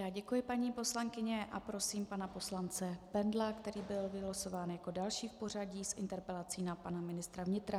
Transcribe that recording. Já děkuji, paní poslankyně, a prosím pana poslance Bendla, který byl vylosován jako další v pořadí, s interpelací na pana ministra vnitra.